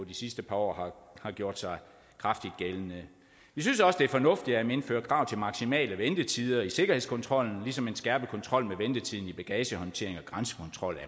de sidste par år har gjort sig kraftigt gældende vi synes også det er fornuftigt at man indfører krav maksimale ventetider i sikkerhedskontrollen ligesom en skærpet kontrol med ventetiden i bagagehåndteringen og grænsekontrollen